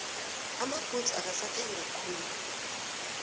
amabhudzu akasathengwa khulu